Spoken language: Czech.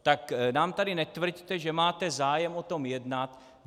Tak nám tady netvrďte, že máte zájem o tom jednat.